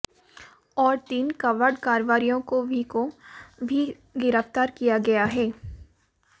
और तीन कबाड़ कारोबारियों को भी को भी गिरफ्तार किया गया है